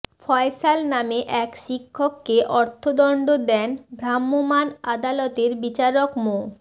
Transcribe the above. ফয়সাল নামে এক শিক্ষককে অর্থদণ্ড দেন ভ্রাম্যমাণ আদালতের বিচারক মো